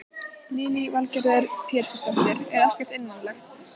Lillý Valgerður Pétursdóttir: Er ekkert einmanalegt?